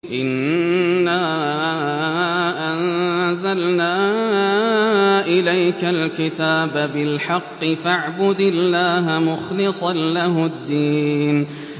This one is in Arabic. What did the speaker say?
إِنَّا أَنزَلْنَا إِلَيْكَ الْكِتَابَ بِالْحَقِّ فَاعْبُدِ اللَّهَ مُخْلِصًا لَّهُ الدِّينَ